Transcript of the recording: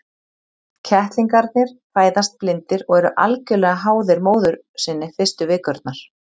Kettlingarnir fæðast blindir og eru algjörlega háðir móður sinni fyrstu vikurnar.